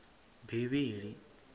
bivhili